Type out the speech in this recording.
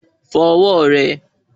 Fọ ọwọ́ rẹ